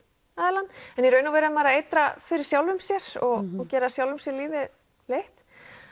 aðilann en í raun og veru er maður að eitra fyrir sjálfum sér og gera sjálfum sér lífið leitt